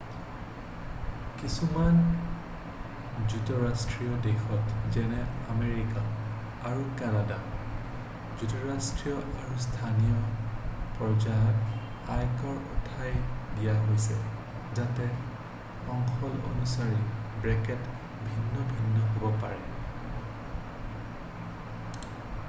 কিছুমান যুক্তৰাষ্ট্ৰীয় দেশত যেনে আমেৰিকা আৰু কানাডাত যুক্তৰাষ্ট্ৰীয় আৰু স্থানীয় পৰ্যায়ত আয়কৰ উঠাই দিয়া হৈছে যাতে অঞ্চল অনুসৰি ব্ৰেকেট ভিন্ন ভিন্ন হ'ব পাৰে